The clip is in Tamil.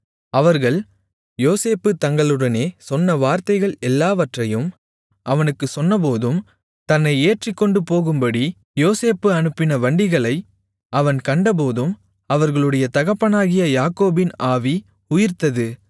அவர்கள் யோசேப்பு தங்களுடனே சொன்ன வார்த்தைகள் எல்லாவற்றையும் அவனுக்குச் சொன்னபோதும் தன்னை ஏற்றிக்கொண்டு போகும்படி யோசேப்பு அனுப்பின வண்டிகளை அவன் கண்டபோதும் அவர்களுடைய தகப்பனாகிய யாக்கோபின் ஆவி உயிர்த்தது